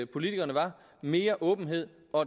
politikerne var mere åbenhed og